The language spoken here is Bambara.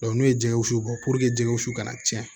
n'o ye jɛgɛ wusu bɔ jɛgɛ wusu ka na tiɲɛ